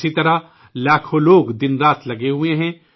اسی طرح لاکھوں لوگ دن رات مصروف ہیں